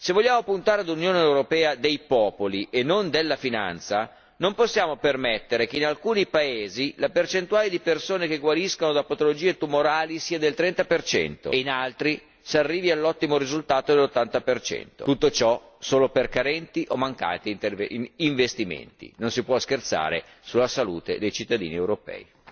Se vogliamo puntare all'Unione europea dei popoli e non della finanza, non possiamo permettere che in alcuni paesi la percentuale di persone che guariscono da patologie tumorali sia del 30 e in altri si arrivi all'ottimo risultato dell'80. Tutto ciò solo per carenti o mancati investimenti. Non si può scherzare sulla salute dei cittadini europei.